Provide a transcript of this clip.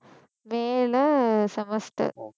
மே ல semester